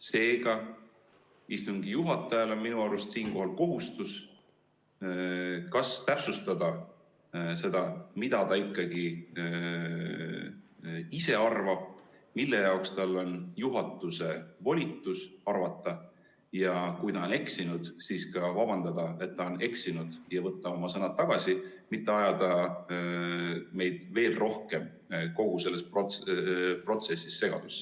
Seega, istungi juhatajal on minu arust siinkohal kohustus ikkagi täpsustada seda, mida ta ise arvab, milleks tal on juhatuse volitus, ja kui ta on eksinud, siis ka vabandada, et ta on eksinud, ja võtta oma sõnad tagasi, mitte ajada meid veel rohkem kogu selles protsessis segadusse.